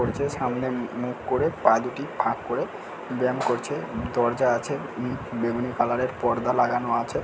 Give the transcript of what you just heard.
করছে সামনে মু-মুখ করে পা দুটি ফাঁক করে ব্যায়াম করছে |দরজা আছে উম বেগুনি কালার -এর পর্দা লাগানো আছে |